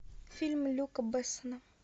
фильм люка бессона